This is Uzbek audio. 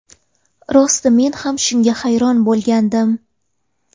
Rosti men ham shunga hayron bo‘lgandim.